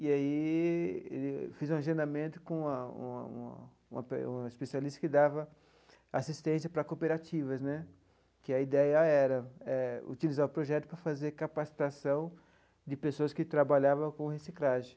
E aí fiz um agendamento com a uma uma uma pe um especialista que dava assistência para cooperativas né, que a ideia era utilizar o projeto para fazer capacitação de pessoas que trabalhavam com reciclagem.